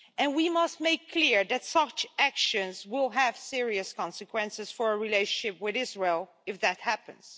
We must make clear that such actions will have serious consequences for our relationship with Israel if that happens.